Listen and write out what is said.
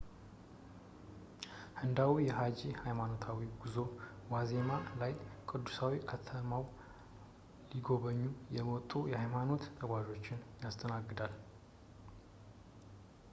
ሕንጻው በሃጂ ሃይማኖታዊ ጉዞ ዋዜማ ላይ ቅዱሳዊ ከተማውን ሊጎበኙ የመጡ የሃይማኖት ተጓዦችን ያስተናግዳል